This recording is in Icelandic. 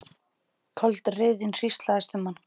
Köld reiðin hríslaðist um hann.